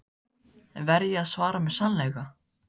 Verð ég að svara með sannleika?